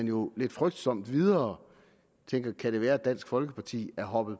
jo lidt frygtsomt videre og tænker kan det være at dansk folkeparti er hoppet